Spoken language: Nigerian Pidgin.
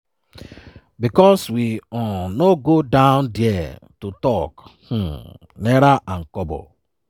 because we um no go down there to talk um naira and kobo.”